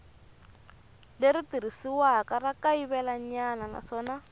leri tirhisiwaka ra kayivelanyana naswona